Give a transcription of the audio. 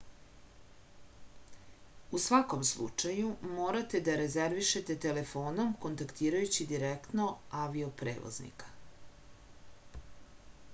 u svakom slučaju morate da rezervišete telefonom kontaktirajući direktno avio-prevoznika